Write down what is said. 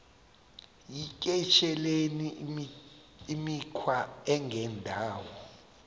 yityesheleni imikhwa engendawo